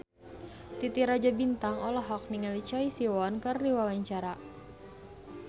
Titi Rajo Bintang olohok ningali Choi Siwon keur diwawancara